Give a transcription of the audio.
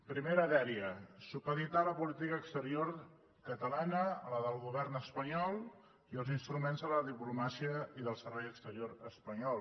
primera dèria supeditar la política exterior catalana a la del govern espanyol i als instruments de la diplomàcia i del servei exterior espanyol